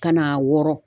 Ka n'a wɔrɔn